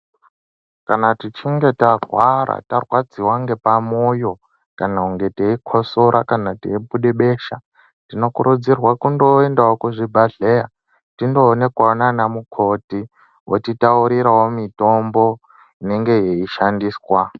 Kana tichinge tarwara tarwadziwa nepamoyo kana teinge teikosora teibuda besha tinokurudzirwa kuti tiendewo kuzvibhedhlera Kuti tindoonekwawo nana mukoti votitaurirawo mitombo inonga yeishandiswa.